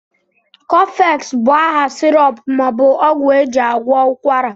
Cofex bụ aha syrp maọbụ ọgwụ ejị agwọ ụkwara